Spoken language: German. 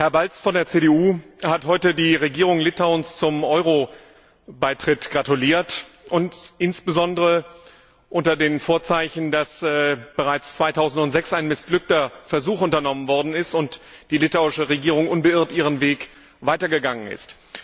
Herr Balz von der CDU hat heute der Regierung Litauens zum Euro Beitritt gratuliert, insbesondere unter den Vorzeichen, dass bereits 2006 ein missglückter Versuch unternommen worden ist und die litauische Regierung unbeirrt ihren Weg weitergegangen ist.